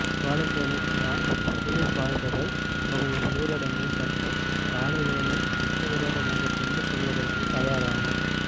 வாழைச்சேனை கிரான் புலிபாய்ந்தகல் பகுதியில் ஊரடங்கு சட்டம் காலவேளையில் சட்டவிரோதமாக கொண்டு செல்வதற்கு தயாரான